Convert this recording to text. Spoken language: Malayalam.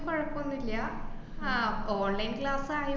കൊഴപ്പോന്നും ഇല്ല, ആഹ് ആ online class ആയാലും